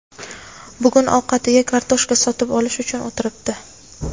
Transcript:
bugun ovqatiga kartoshka sotib olish uchun o‘tiribdi.